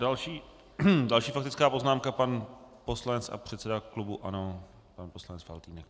Další faktická poznámka pan poslanec a předseda klubu ANO, pan poslanec Faltýnek.